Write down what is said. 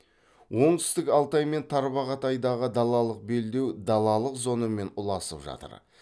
оңтүстік алтай мен тарбағатайдағы далалық белдеу далалық зонамен ұласып жатыр